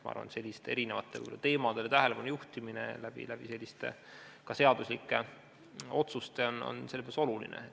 Ma arvan, et sellistele teemadele tähelepanu juhtimine selliste otsustega on selles mõttes oluline.